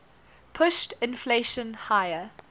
pushed inflation higher